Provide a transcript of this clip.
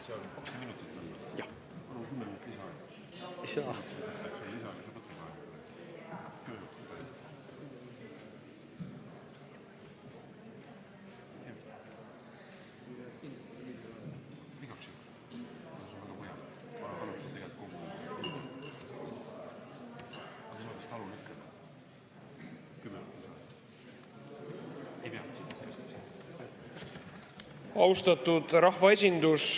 Austatud rahvaesindus!